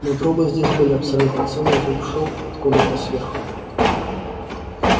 но трубы здесь были абсолютно целые звук шёл откуда-то сверху